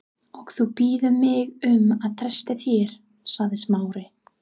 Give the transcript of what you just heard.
Og þú biður mig um að treysta þér- sagði Smári.